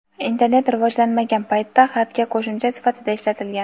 internet rivojlanmagan paytda xatga qo‘shimcha sifatida ishlatilgan.